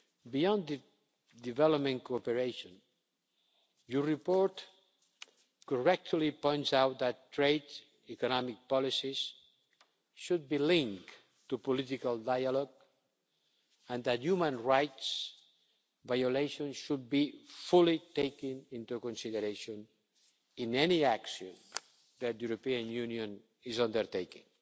Beyond development cooperation, your report correctly points out that trade and economic policies should be linked to political dialogue and that human rights violations should be fully taken into consideration in any action that the European Union is undertaking.